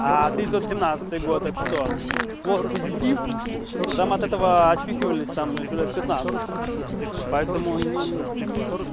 тысяча девятьсот семнадцатый год это что сплошь позитив потом от этого очухивались там ещё лет пятнадцать поэтому ну